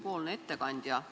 Lugupeetud ettekandja!